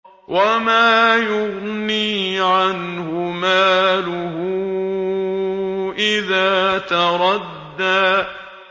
وَمَا يُغْنِي عَنْهُ مَالُهُ إِذَا تَرَدَّىٰ